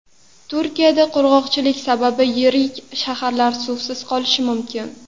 Turkiyada qurg‘oqchilik sabab yirik shaharlar suvsiz qolishi mumkin .